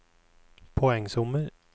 poengsummer